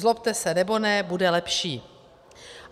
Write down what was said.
Zlobte se nebo ne, bude lepší.